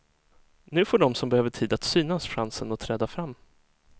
Nu får de som behöver tid att synas chansen att träda fram.